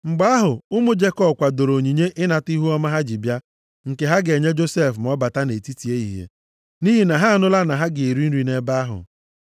Mgbe ahụ, ụmụ Jekọb kwadoro onyinye ịnata ihuọma ha ji bịa, nke ha ga-enye Josef ma ọ bata nʼetiti ehihie, nʼihi na ha anụla na ha ga-eri nri nʼebe ahụ.